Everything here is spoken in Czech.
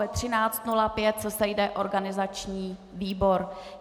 Ve 13.05 se sejde organizační výbor.